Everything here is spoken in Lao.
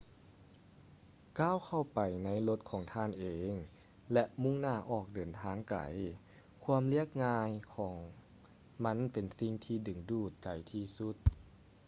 ກ້າວເຂົ້າໄປໃນລົດຂອງທ່ານເອງ ແລະ ມຸ່ງໜ້າອອກເດີນທາງໄກ ຄວາມລຽບງ່າຍຂອງມັນເປັນສິງທີ່ດຶງດູດໃຈທີ່ສຸດ